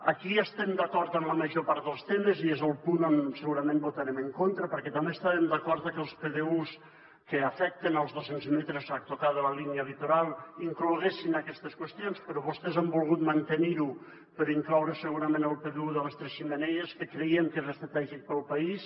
aquí estem d’acord en la major part dels temes i és el punt on segurament votarem en contra perquè també estàvem d’acord que els pdus que afecten els doscents metres a tocar de la línia litoral incloguessin aquestes qüestions però vostès han volgut mantenir ho per incloure hi segurament el pdu de les tres xemeneies que creiem que és estratègic per al país